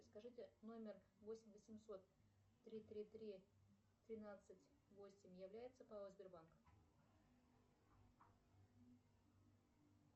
скажите номер восемь восемьсот три три три тринадцать восемь является пао сбербанк